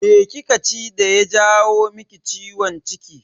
Me kika ci daya jawo maki ciwon ciki?